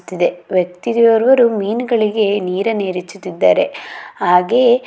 ವ್ಯಕ್ತಿಯೋರ್ವರು ಮೀನುಗಳಿಗೆ ನೀರನ್ನು ಎರಚುತಿದ್ದಾರೆ ಹಾಗೆಯೇ--